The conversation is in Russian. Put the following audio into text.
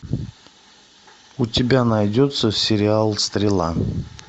у тебя найдется сериал стрела